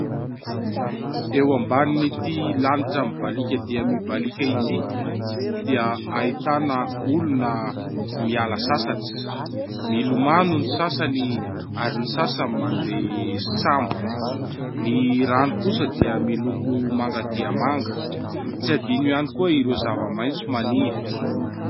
Eo ambanin'ity lanitra mibalika dia mibalika ity dia ahitana olona miala sasatra, milomano ny sasany ary ny sasany mandeha sambo. Ny rano kosa dia miloko manga dia manga, tsy adino ihany koa ireo zava-maitso maniry.